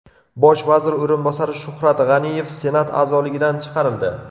Bosh vazir o‘rinbosari Shuhrat G‘aniyev Senat a’zoligidan chiqarildi.